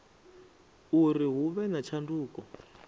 uri hu vhe na tshanduko